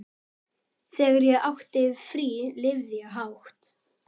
Þegar ég átti frí lifði ég hátt.